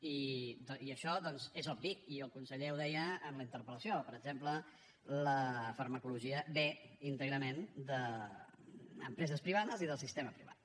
i això doncs és obvi i el conseller ho deia en la interpel·lació per exemple la farmacologia ve íntegrament d’empreses privades i del sistema privat